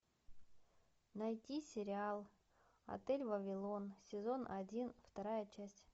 найти сериал отель вавилон сезон один вторая часть